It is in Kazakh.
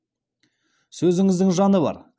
сөзіңіздің жаны бар